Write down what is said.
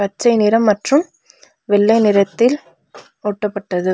பச்சை நிறம் மற்றும் வெள்ளை நிறத்தில் ஒட்டப்பட்டது.